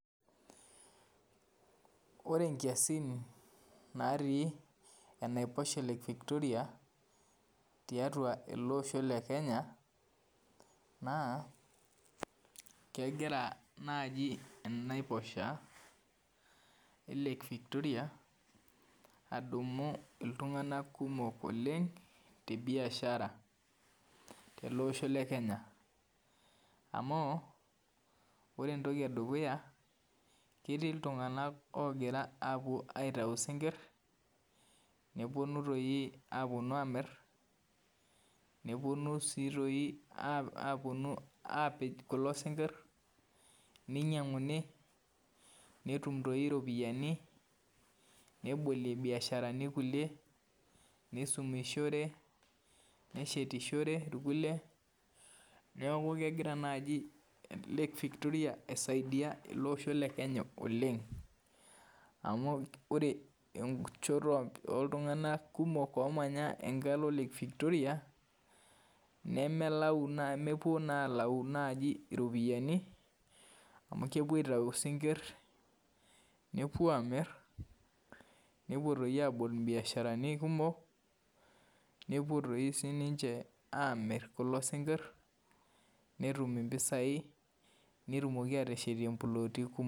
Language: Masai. Ore nkiasin natii enaiposha e victoria tiatua elebosho le kenya na kegira nai enaiposha e victoria adumu ltunganak kumok oleng tebiashara tolosho le Kenya amu ore entoki edukuya ketii ltunganak ogira apuo aitau sinkir neponu amir neponu si apik kulo singir ninyanguni netum iropiyani nebolie biasharani kulie nisumishore neshetishore rkukie neaku kegira nai lake victoria aisaidia olosho le Kenya oleng amu ore enchoto oltunganak kumok omanya enchoto e victoria nemelau nemepuo na alau ropiyani amu kepuo aitau sinkir nepuobamir nepuo abol mbiasharani kumok nepuo sininche amir kulo sinkir netumbm mpisai netumoki ateshetie mploti kumok.